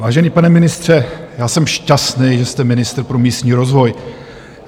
Vážený pane ministře, já jsem šťastný, že jste ministr pro místní rozvoj.